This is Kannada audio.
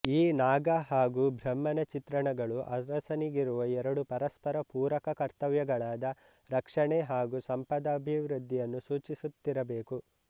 ಈ ನಾಗ ಹಾಗೂ ಬ್ರಹ್ಮನ ಚಿತ್ರಣಗಳು ಅರಸನಿಗಿರುವ ಎರಡು ಪರಸ್ಪರ ಪೂರಕ ಕರ್ತವ್ಯಗಳಾದ ರಕ್ಷಣೆ ಹಾಗೂ ಸಂಪದಭಿವೃದ್ಧಿಯನ್ನು ಸೂಚಿಸುತ್ತಿರಬೇಕು